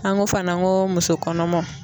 An ko fana ko muso kɔnɔmaw